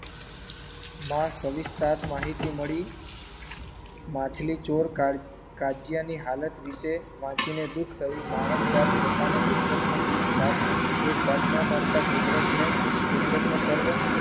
માં સવિસ્તાર માહિતી મળી. માછલીચોર કા કાજિયાની હાલત વિષે વાંચીને દુખ થયું માણસજાત પોતાને કુદરતનો એક ભાગ એક ભાગ ન માનતા કુદરતને કુદરતનો સર્વ